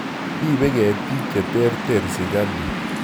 Ripei ketik che terter sirikalit